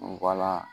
Wala